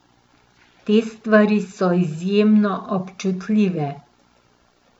Te stvari so izjemno občutljive.